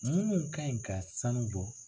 Munnu kan ɲi ka sanu bɔ.